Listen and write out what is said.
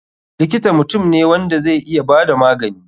Likita mutum ne wanda zai iya bada magani.